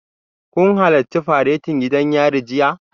Kun halarci faretin gidan yari jiya?